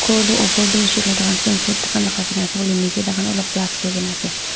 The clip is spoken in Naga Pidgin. opor tamu hoishey koilae tu tahan nichae tahan olop plastic kurikaena ase.